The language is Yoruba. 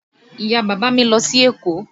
Ìyá-bàbá mi lọ sí Èkó.